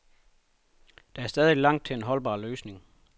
Der er stadig langt til en holdbar løsning.